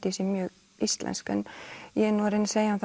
ég sé mjög íslensk en ég er nú að reyna að segja þeim